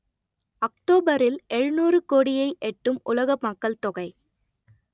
அக்டோபரில் எழுநூறு கோடியை எட்டும் உலக மக்கள் தொகை